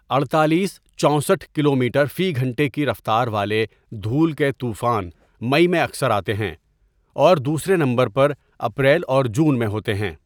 اڈتالیس ، چوسٹھ کلومیٹر فی گھنٹہ کی رفتار والے دھول کے طوفان مئی میں اکثر آتے ہیں اور دوسرے نمبر پر اپریل اور جون میں ہوتے ہیں۔